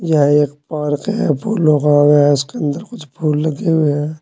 यह एक पार्क है फूलों का वहां उसके अंदर कुछ फूल लगे हुए हैं।